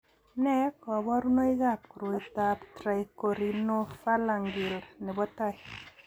Nee kabarunoikab koroitoab trichorhinophalangeal nebo tai?